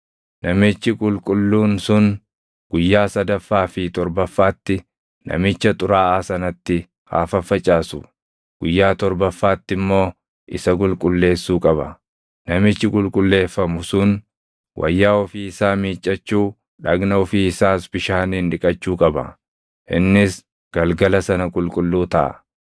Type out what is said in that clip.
Namichi qulqulluun sun guyyaa sadaffaa fi torbaffaatti namicha xuraaʼaa sanatti haa faffacaasu; guyyaa torbaffaatti immoo isa qulqulleessuu qaba. Namichi qulqulleefamu sun wayyaa ofii isaa miiccachuu, dhagna ofii isaas bishaaniin dhiqachuu qaba; innis galgala sana qulqulluu taʼa.